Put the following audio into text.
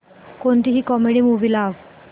कोणतीही comedy movie लाव